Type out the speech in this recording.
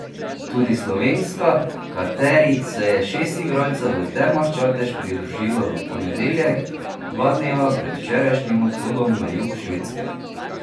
Tudi slovenska, kateri se je šest igralcev v Termah Čatež pridružilo v ponedeljek, dva dneva pred včerajšnjim odhodom na jug Švedske.